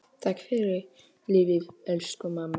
Takk fyrir lífið, elsku mamma.